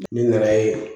Ni nana ye